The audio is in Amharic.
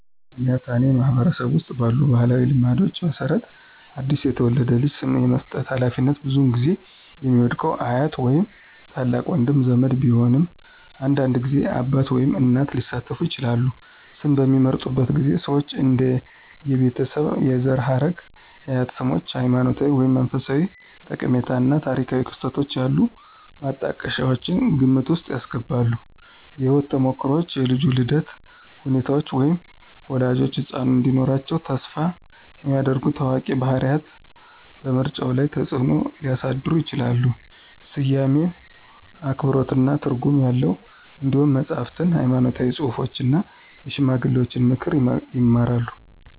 ያትአኔ ማህበረሰብ ውስጥ ባሉ ባህላዊ ልማዶች መሰረት አዲስ የተወለደውን ልጅ ስም የመስጠት ሃላፊነት ብዙውን ጊዜ የሚወድቀው አያት ወይም ታላቅ ወንድ ዘመድ ቢሆንም አንዳንድ ጊዜ አባት ወይም እናት ሊሳተፉ ይችላሉ። ስም በሚመርጡበት ጊዜ ሰዎች እንደ የቤተሰብ የዘር ሐረግ፣ የአያት ስሞች፣ ሃይማኖታዊ ወይም መንፈሳዊ ጠቀሜታ እና ታሪካዊ ክስተቶች ያሉ ማጣቀሻዎችን ግምት ውስጥ ያስገባሉ። የህይወት ተሞክሮዎች, የልጁ የልደት ሁኔታዎች, ወይም ወላጆች ህጻኑ እንዲኖራቸው ተስፋ የሚያደርጉ ታዋቂ ባህሪያት በምርጫው ላይ ተጽእኖ ሊያሳድሩ ይችላሉ. ስያሜው አክብሮትና ትርጉም ያለው እንዲሆን መጽሐፍትን፣ ሃይማኖታዊ ጽሑፎችን እና የሽማግሌዎችን ምክር ይማራሉ።